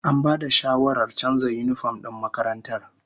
An bada shawarar canza yinifom din makarantar